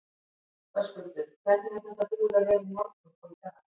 Höskuldur: Hvernig er þetta búið að vera í morgun og í dag?